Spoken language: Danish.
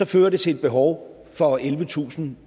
fører til et behov for ellevetusinde